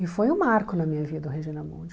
E foi um marco na minha vida o Regina Mundi.